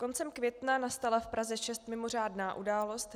Koncem května nastala v Praze 6 mimořádná událost.